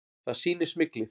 Það sýni smyglið.